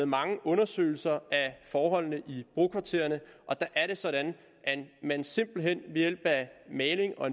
mange undersøgelser af forholdene i brokvartererne og det er sådan at man simpelt hen ved hjælp af maling og